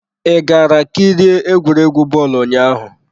I gara kirie egwuregwu bọọlụ ụnyaahụ?